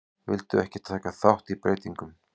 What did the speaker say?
Vildu ekki taka þátt í breytingum